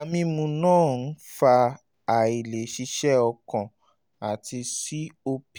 sìgá mímu máa ń fa àìlè ṣiṣẹ́ ọkàn àti copd